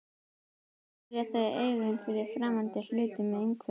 Einnig verja þau augun fyrir framandi hlutum í umhverfinu.